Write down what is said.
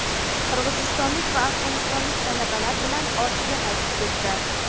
qirg‘izistonlik va afg‘onistonlik talabalar bilan ortiga qaytib ketdi.